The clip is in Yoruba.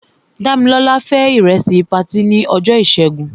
Dámilọ́lá fé ìrẹsì patí ní ọjọ́ ìṣẹ́gun.